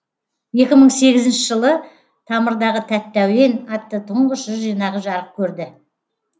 екі мың сегізінші жылы тамырдағы тәтті әуен атты тұңғыш жыр жинағы жарық көрді